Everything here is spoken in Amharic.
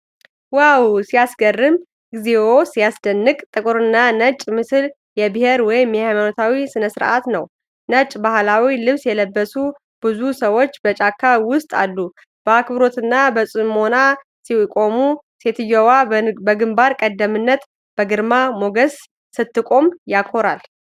ዋው ሲያስገርም! እግዚኦ ሲያስደንቅ! ጥቁርና ነጭ ምስል የብሄር ወይም ሃይማኖታዊ ስነስርዓት ነው! ነጭ ባህላዊ ልብስ የለበሱ ብዙ ሰዎች በጫካ ውስጥ አሉ። በአክብሮትና በጽሞና ሲቆሙ። ሴትዮዋ በግንባር ቀደምትነት በግርማ ሞገስ ስትቆም! ያኮራል!